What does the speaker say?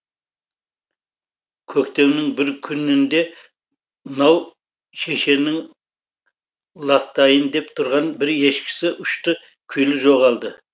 көктемнің бір күнінде нау шешеннің лақтайын деп тұрған бір ешкісі ұшты күйлі жоғалады